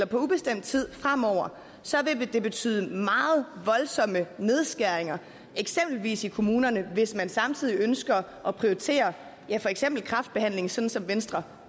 på ubestemt tid fremover vil det betyde meget voldsomme nedskæringer eksempelvis i kommunerne hvis man samtidig ønsker at prioritere for eksempel kræftbehandlingen sådan som venstre